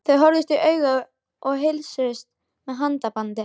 Þau horfðust í augu og heilsuðust með handabandi.